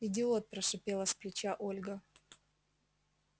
идиот прошипела с плеча ольга